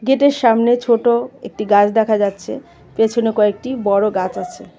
Gate -এর সামনে ছোট একটি গাছ দেখা যাচ্ছে পেছনে কয়েকটি বড় গাছ আছে।